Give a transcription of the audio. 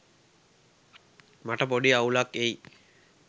මට පොඩි අවුලක් එයි